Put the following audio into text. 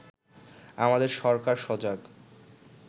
আমাদের সরকার সজাগ